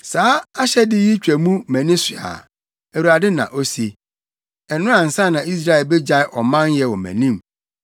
“Saa ahyɛde yi twa mu mʼani so a,” Awurade na ose, “ɛno ansa na Israel begyae ɔmanyɛ wɔ mʼanim.”